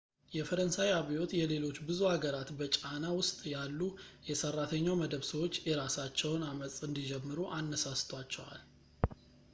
የፈረንሣይ አብዮት የሌሎች ብዙ አገራት በጫና ውስጥ ያሉ የሰራተኛው መደብ ሰዎች የራሳቸውን ዐመፅ እንዲጀምሩ አነሳስቷቸዋል